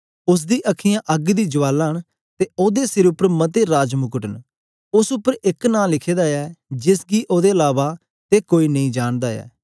उस्स दी अखीयाँ अग्ग दी ज्वाला न ते ओदे सिर उपर मते राजमुकुट न उस्स उपर एक नां लिखे दा ऐ जेस गी ओदे अलावा ते कोई नेई जानदा ऐ